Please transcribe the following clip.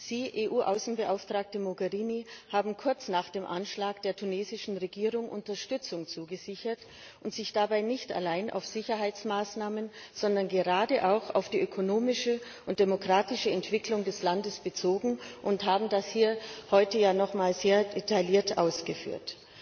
Sie, EU Außenbeauftragte Mogherini, haben kurz nach dem Anschlag der tunesischen Regierung Unterstützung zugesichert und sich dabei nicht allein auf Sicherheitsmaßnahmen, sondern gerade auch auf die ökonomische und demokratische Entwicklung des Landes bezogen und haben das hier heute noch einmal sehr detailliert ausgeführt.